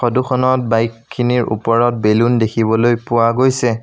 ফটোখনত বাইকখিনিৰ ওপৰত বেলুন দেখিবলৈ পোৱা গৈছে।